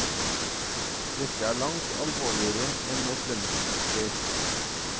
Dette er langt alvorligere enn et lønnsoppgjør.